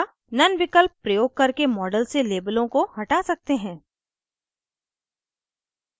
none विकल्प प्रयोग करके model से labels को हटा सकते हैं